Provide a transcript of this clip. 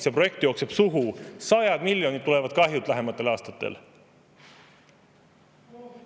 See projekt jookseb sohu, sajad miljonid kahju tuleb lähematel aastatel.